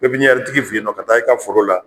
tigi fen yen nɔ ka taa i ka foro la